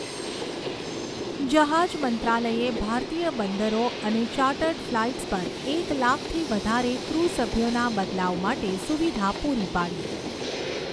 જહાજ મંત્રાલયે ભારતીય બંદરો અને ચાર્ટર્ડ ફ્લાઇ્ટસ પર એક લાખથી વધારે ક્રૂ સભ્યોના બદલાવ માટે સુવિધા પૂરી પાડી